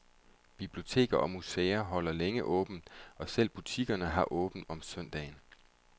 Biblioteker og museer holder længe åbent, og selv butikkerne har åbent om søndagen.